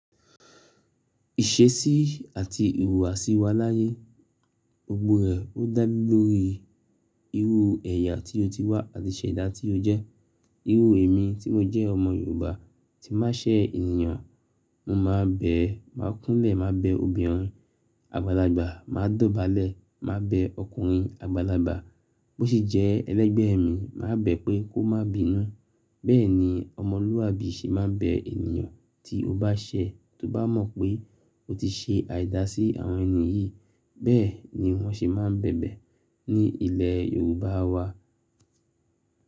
Ìṣesí àti ìhùwàsí wà láyé, gbogbo rẹ́, o dá lórí irú ẹ̀yà tí o ti wà àti iṣẹ̀dá tí o jẹ́. Irú èmi tí mo jẹ́ ọmọ Yorùbá, tí n má ṣẹ̀ ènìyàn, mo má bẹ̀, má kúnlẹ̀, má bẹ̀ obìnrin àgbàlagbà, má dọ̀bálẹ̀, má bẹ̀ ọkùnrin àgbàlagbà. Bó sì jẹ́ ẹlẹgbẹ́ mi, mà bẹ̀ pé kó má bínú. Bẹ́ẹ̀ ni ọmọlúàbí ṣe má n bẹ̀ ènìyàn tí o bá ṣẹ̀, tó bá mọ̀ pé o ti ṣe àìda sí àwọn ènìyí, bẹ́ẹ̀ ni wọ́n ṣe má n bẹ̀bẹ̀ ní ilẹ̀ Yorùbá wà.